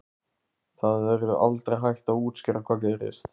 Það verður aldrei hægt að útskýra hvað gerðist.